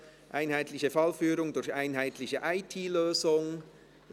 «Einheitliche Fallführung durch einheitliche IT-Lösung [...]».